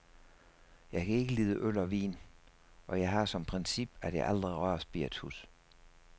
Jeg kan ikke lide øl og vin, og jeg har som princip, at jeg aldrig rører spiritus.